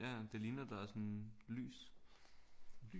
Ja ja det ligner der er sådan lys